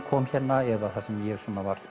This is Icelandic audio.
kom hérna eða það sem ég